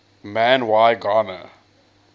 man y gana